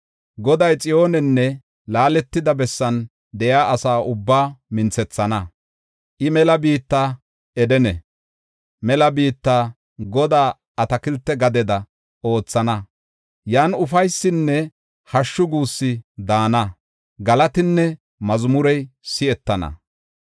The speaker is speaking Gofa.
“Goday Xiyoonenne laaletida bessan de7iya asa ubbaa minthethana. I mela biitta Edene, kalotida biitta Godaa atakilte gadeda oothana. Yan ufaysinne hashshu guussi daana; galatinne mazmurey si7etana.